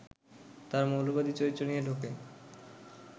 তার মৌলবাদী চরিত্র নিয়ে ঢোকে